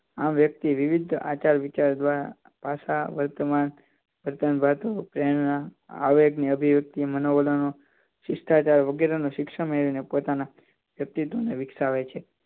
આમ વ્યક્તિ વિવિધ આચાર-વિચાર દ્વારા પાછા વર્તમાન વર્તમાન વાદો તેના આવેગ અભિવક્ત માનો વલણો શિક્ષાચાર વગેરે શિક્ષણ મેળવીને પોતાના વ્યક્તિત્વ વિકસાવે છે